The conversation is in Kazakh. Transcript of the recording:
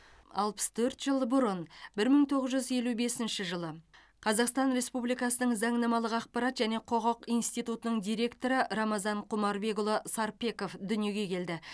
алпыс төрт жыл бұрын бір мың тоғыз жүз елу бесінші жылы қазақстан республикасының заңнамалық ақпарат және құқық институтының директоры рамазан құмарбекұлы сарпеков дүниеге келді